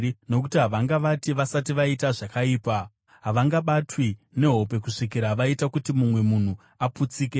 Nokuti havangavati vasati vaita zvakaipa; havangabatwi nehope kusvikira vaita kuti mumwe munhu aputsike.